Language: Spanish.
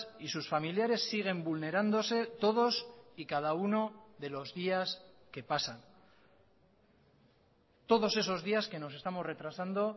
y sus familiares siguen vulnerándose todos y cada uno de los días que pasan todos esos días que nos estamos retrasando